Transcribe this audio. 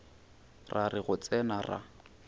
ra re go tsena ra